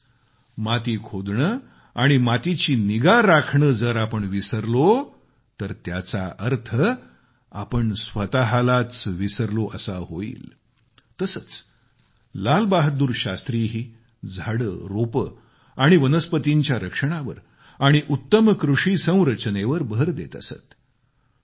म्हणजेच माती खोदणे आणि मातीची निगा राखणे जर आपण विसरलो तर त्याचा अर्थ आपण स्वतःलाच विसरलो असा होईल तसेच लालबहादूर शास्त्रीही झाडे रोपं आणि वनस्पतींच्या रक्षणावर आणि उत्तम कृषी संरचनेवर भर देत असत